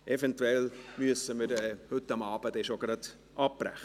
Eventuell müssen wir schon heute Abend abbrechen.